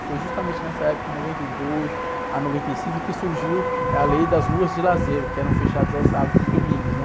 Foi justamente nessa época, em noventa e dois a noventa e cinco, que surgiu a lei das ruas de lazer, que eram fechadas aos sábados e domingos, né?